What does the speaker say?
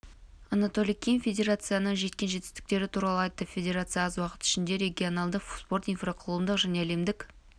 анатолий ким федерацияның жеткен жетістіктері туралы айтты федерация аз уақыт ішінде регионалдық спорт инфрақұрылым және әлемдік